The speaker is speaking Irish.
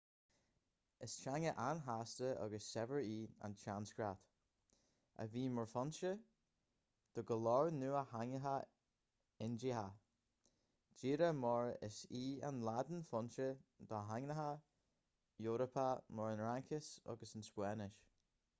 is teanga an-chasta agus saibhir í an tsanscrait a bhí mar fhoinse do go leor nua-theangacha indiacha díreach mar is í an laidin foinse do theangacha eorpacha mar an fhraincis agus an spáinnis